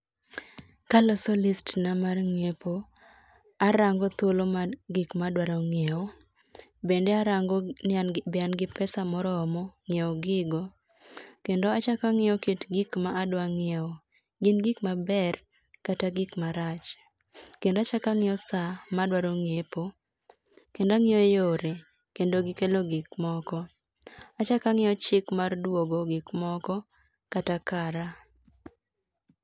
Kaloso list na mar ngiepo, arango thuolo mar gik madwaro ngiew, bende arango ni be an gi pesa moromo nyiew gigo, kendo achako angiyo kit gikma adwa ngiew, gin gik maber kata gik marach. Kendo achak angiyo saa madwaro ngiepo, kendo angiyo yore kendo gi kelo gik moko . Achak angiyo chik mar duogo gik moko kata kara.